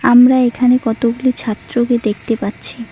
আমরা এখানে কতগুলি ছাত্রকে দেখতে পাচ্ছি।